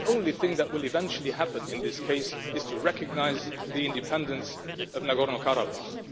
The only thing that will eventually happen in this case is to recognise the independence of Nagorno-Karabakh.